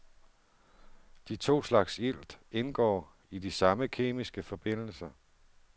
De to slags ilt indgår i de samme kemiske forbindelser.